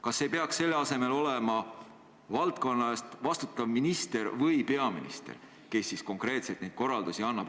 Kas ei peaks selle asemel olema valdkonna eest vastutav minister või peaminister, kes konkreetselt neid korraldusi annab?